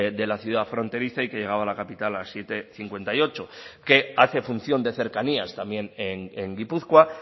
de la ciudad fronteriza y que llegaba a la capital las siete cincuenta y ocho que hace función de cercanías también en gipuzkoa